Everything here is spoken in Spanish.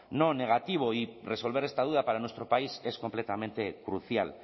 no negativo y resolver esta duda para nuestro país que es completamente crucial